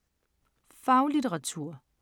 Faglitteratur